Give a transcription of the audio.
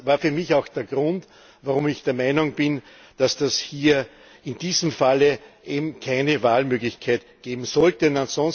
Das war für mich auch der Grund, warum ich der Meinung bin, dass es hier in diesem Falle eben keine Wahlmöglichkeit geben sollte.